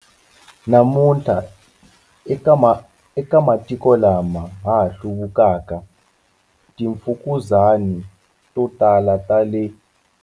Namuntlha, eka matiko lama ha hluvukaka, timfukuzani to tala ta le.